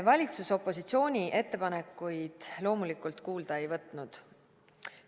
Valitsus opositsiooni ettepanekuid loomulikult kuulda ei võtnud.